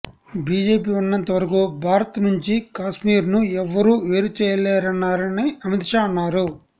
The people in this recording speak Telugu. బీజేపీ ఉన్నంత వరకు భారత్ నుంచి కాశ్మీర్ను ఎవ్వరూ వేరుచేయలేరన్నారని అమిత్ షా అన్నారు